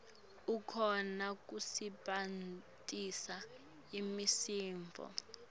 akhone kusebentisa imisindvo